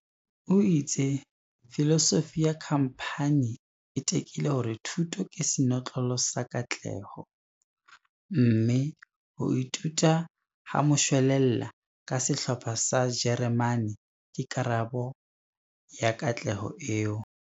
O itse filosofi ya khamphani e tekile hore thuto ke senotlolo sa katleho, mme ho ithuta ha moshwelella ka Sehlopha sa jeremane ke karabo ya katleho eo.